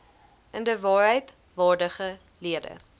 inderwaarheid waardige lede